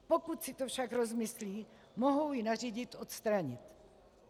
Pokud si to však rozmyslí, mohou ji nařídit odstranit.